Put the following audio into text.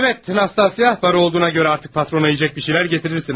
Bəli, Nastasya, pul olduğuna görə artıq patrona yeməli bir şeylər gətirərsən ha?